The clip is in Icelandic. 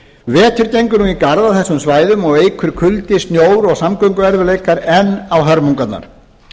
vetur gengur nú í garð á þessum svæðum og eykur kuldi snjór og samgönguerfiðleikar enn á hörmungarnar